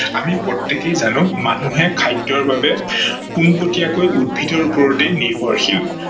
আমি প্ৰতেকেই জানো মানুহে খাদ্যৰ বাবে পোনপটীয়াকৈ উদ্ভিদৰ ওপৰতেই নিৰ্ভৰশীল।